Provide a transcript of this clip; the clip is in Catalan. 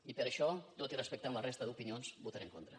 i per això tot i respectant la resta d’opinions hi votaré en contra